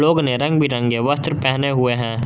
उने रंग बिरंगे वस्त्र पहने हुए है।